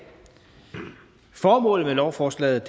formålet med lovforslaget